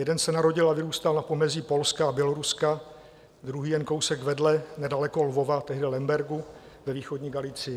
Jeden se narodil a vyrůstal na pomezí Polska a Běloruska, druhý jen kousek vedle nedaleko Lvova, tehdy Lembergu ve východní Galicji .